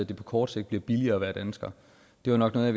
det på kort sigt bliver billigere at være dansker det var nok noget